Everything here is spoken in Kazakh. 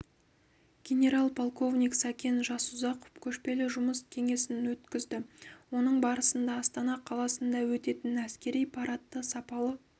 генерал-полковник сәкен жасұзақов көшпелі жұмыс кеңесін өткізді оның барысында астана қаласында өтетін әскери парадты сапалы